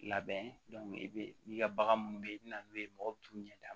Labɛn i bɛ n'i ka bagan minnu bɛ yen i bɛ na n'o ye mɔgɔ bɛ t'u ɲɛda